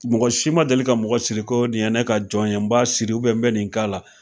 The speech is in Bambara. Mɔgɔ si ma deli ka mɔgɔ siri ko nin ye ne ka jɔn ye, n b'a siri n bɛ nin k'a la